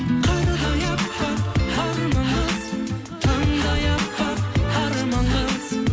қардай әппақ арман қыз таңдай әппақ арман қыз